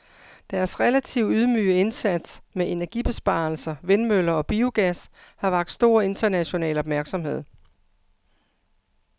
Deres relativt ydmyge indsats med energibesparelser, vindmøller og biogas har vakt stor international opmærksomhed.